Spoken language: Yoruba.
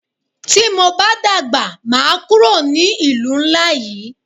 Tí mo bá dàgbà máa kúrò ní ìlú ńlá yí.